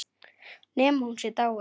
Nema hún sé dáin.